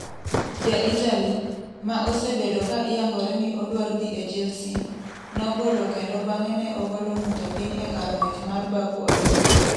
Ja-Italy, ma osebedo ka iyangore ni odwar dhi e Chelsea, nobolo kendo bang'e ne obolo ng'ute e kar ng'wech mar Baku Olympic.